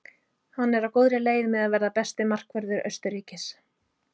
Hann er á góðri leið með að verða besti markvörður Austurríkis.